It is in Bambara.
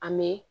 An bɛ